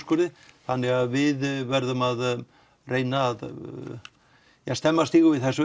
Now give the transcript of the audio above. þannig að við verðum að reyna að stemma stigu við þessu